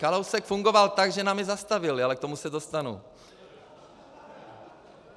Kalousek fungoval tak, že nám je zastavili, ale k tomu se dostanu.